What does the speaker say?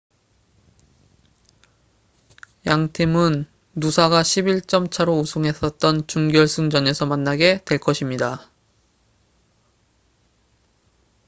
양 팀은 누사가 11점 차로 우승했었던 준결승전에서 만나게 될 것입니다